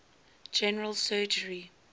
general surgery